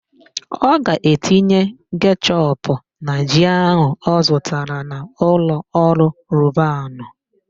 Ọ ga-etinye kechọpụ na ji áhụ̀ ọ zụtara na ụlọọrụ Robanu.